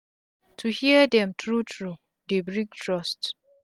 to hear dem tru tru dey bring trust